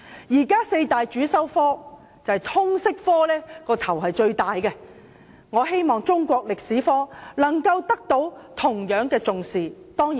現時四大主修科中，通識科的"帶頭地位"最為明顯，我們希望中史科同樣獲得重視。